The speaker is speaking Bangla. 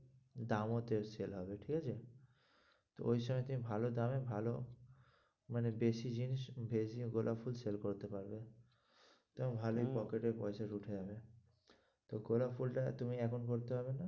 দামও তে sale হবে ঠিকআছে? ওই সময় তুমি ভালো দামে ভালো মানে বেশি জিনিস বেরিয়ে গোলাপ ফুল sale করতে পারবে তোমার ভালোই হম pocket এ পয়সা ঢুকে যাবে তো গোলাপ ফুল টা তুমি এখন করতে হবে না।